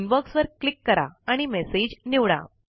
inbox वर click करा आणि मेसेज निवडा